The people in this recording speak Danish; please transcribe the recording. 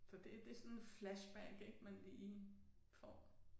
Så det det sådan flashback ik man lige får